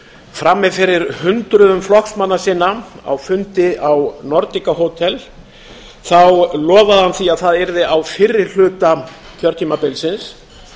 frammi fyrir hundruðum flokksmanna sinna á fundi á hótel nordica lofaði hann því að það yrði á fyrri hluta kjörtímabilsins